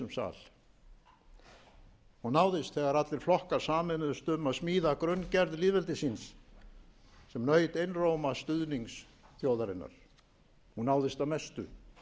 sal hún náðist þegar allir flokkar sameinuðust um að smíða grunngerð lýðveldisins sem naut einróma stuðnings þjóðarinnar hún náðist að mestu